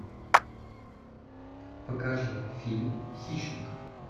покажи фильм хищник